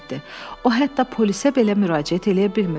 O hətta polisə belə müraciət eləyə bilmir.